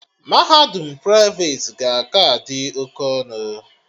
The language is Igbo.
Mahadum praiveti ga-aka dị oke ọnụ